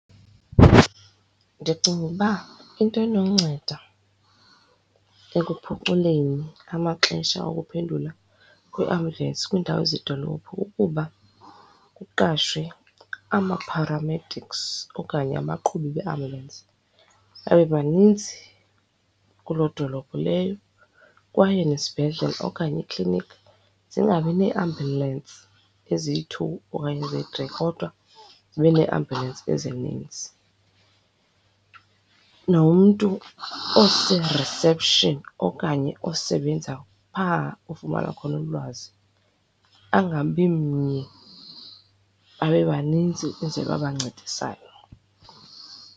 Ndicinga ukuba into enonceda ekuphuculeni amaxesha okuphendula kweambulensi kwiindawo zedolophu kukuba kuqashwe ama-paramedics okanye abaqhubi beeambulensi babe baninzi kuloo dolophu leyo kwaye nezibhedlele okanye iikliniki zingabi neeambulensi eziyi-two okanye eziyi-three kodwa zibe neeambulensi ezininzi. Nomntu ose-reception okanye osebenza phaa kufunwayo khona ulwazi angabi mnye babe baninzi ukwenzele uba bancedisane.